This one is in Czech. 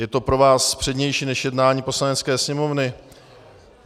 Je to pro vás přednější než jednání Poslanecké sněmovny.